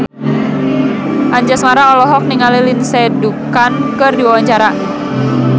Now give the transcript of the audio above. Anjasmara olohok ningali Lindsay Ducan keur diwawancara